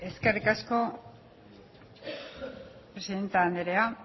eskerrik asko presidente andrea